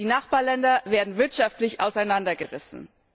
Die Nachbarländer werden wirtschaftlich auseinandergerissen.